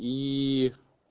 и